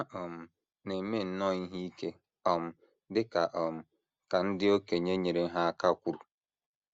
Ha um na - eme nnọọ ihe ike, um dị um ka ndị okenye nyeere ha aka kwuru.